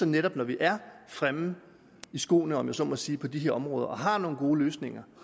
netop når vi er fremme i skoene om jeg så må sige på de her områder og har nogle gode løsninger